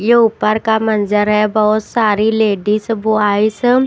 ये ऊपर का मंजर है बहुत सारी लेडीज ब्वायज --